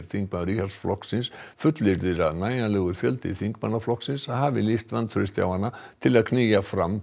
þingmaður Íhaldsflokksins fullyrðir að nægjanlegur fjöldi þingmanna flokksins hafi lýst vantrausti á hana til að knýja fram